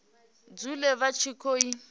dzule vha tshi khou i